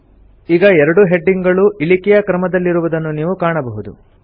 ಈಗ ಎರಡೂ ಹೆಡಿಂಗ್ ಗಳೂ ಇಳಿಕೆ ಕ್ರಮದಲ್ಲಿರುವುದನ್ನು ನೀವು ಕಾಣಬಹುದು